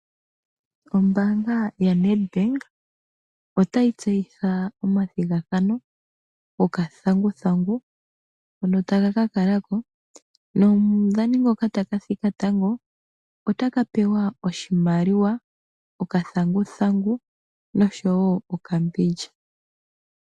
Ombaanga yaNedbank otayi tseyitha omathigathano go kathanguthangu ngoka taga ka kalako, nomudhani ngoka taka thika tango otaka pewa oshimaliwa, okathanguthangu nosho wo okambindja.